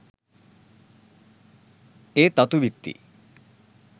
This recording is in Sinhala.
ඒ තතු විත්ති.